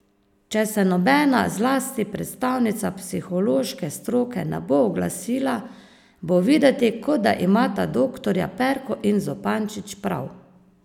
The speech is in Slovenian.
Če se nobena, zlasti predstavnica psihološke stroke, ne bo oglasila, bo videti, kot da imata doktorja Perko in Zupančič prav.